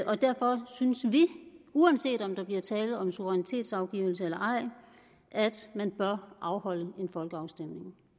og derfor synes vi uanset om der bliver tale om suverænitetsafgivelse eller ej at man bør afholde en folkeafstemning